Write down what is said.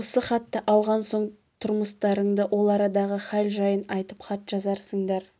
осы хатты алған соң тұрмыстарыңды ол арадағы хәл-жайын айтып хат жазарсыңдар